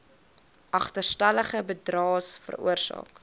agterstallige bydraes veroorsaak